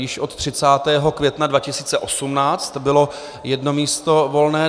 Již od 30. května 2018 bylo jedno místo volné.